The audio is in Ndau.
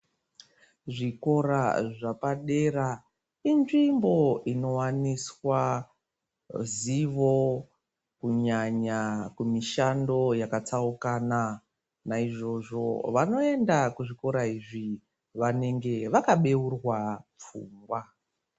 Zvikora zvapadera inzvimbo ino waniswa zivo kunyanya kumishando yaka tsaukana naizvozvo vanoenda ku zvikora izvi vanenge vaka beurwa pfungwa.